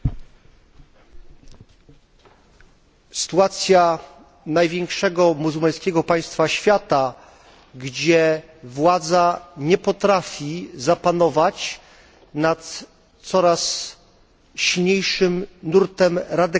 Sytuacja największego muzułmańskiego państwa świata, gdzie władza nie potrafi zapanować nad coraz silniejszym nurtem radykalnego islamu, którego